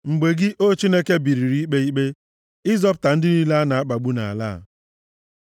mgbe gị, O Chineke, biliri ikpe ikpe, ịzọpụta ndị niile a na-akpagbu nʼala a. Sela